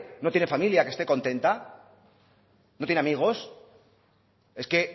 no tiene familia que esté contenta no tiene amigos es que